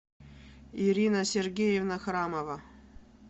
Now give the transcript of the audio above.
ирина сергеевна храмова